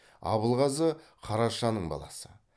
абылғазы қарашаның баласы